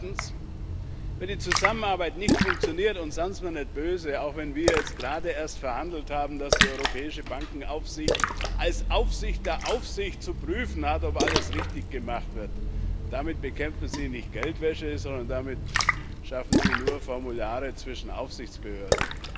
Und zweitens Wenn die Zusammenarbeit nicht funktioniert und seien Sie mir nicht böse auch wenn wir jetzt gerade erst verhandelt haben, dass die Europäische Bankenaufsicht als Aufsicht der Aufsicht zu prüfen hat, ob alles richtig gemacht wird Damit bekämpfen Sie nicht Geldwäsche, sondern damit schaffen Sie nur Formulare zwischen Aufsichtsbehörden.